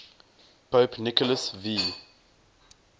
pope nicholas v